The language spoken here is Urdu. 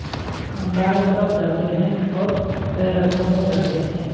ہم بائیں طرف جاتے ہیں اور بیرکوں میں جاتے ہیں